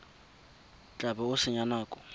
tla bo o senya nako